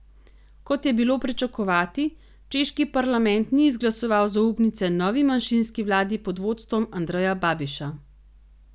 Kot je bilo pričakovati, češki parlament ni izglasoval zaupnice novi manjšinski vladi pod vodstvom Andreja Babiša.